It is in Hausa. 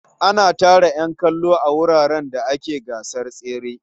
Ana tara ƴan kallo a wuraren da ake gasar tsere.